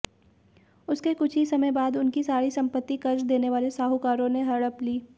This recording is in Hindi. उसके कुछ ही समय बाद उनकी सारी सम्पत्ति कर्ज देने वाले साहूकारों ने हड़प ली